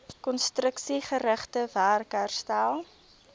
konstruksiegerigte werk herstel